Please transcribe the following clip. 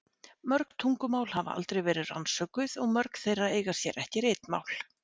Mörg tungumál hafa aldrei verið rannsökuð og mörg þeirra eiga sér ekki ritmál.